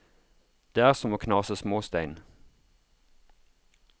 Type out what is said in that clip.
Det er som å knase småstein.